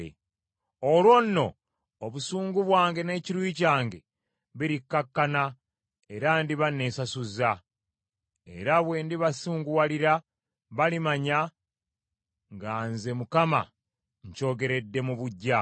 “Olwo nno obusungu bwange n’ekiruyi kyange birikkakkana, era ndiba nesasuzza. Era bwe ndibasunguwalira balimanya nga nze Mukama nkyogeredde mu buggya.